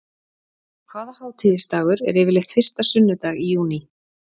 Hvaða hátíðisdagur er yfirleitt fyrsta sunnudag í júní?